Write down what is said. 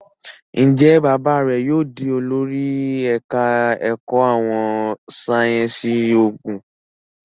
Njé bàbá rẹ yóò dì olórí ẹka èkó àwọn sáyẹnsì oògùn?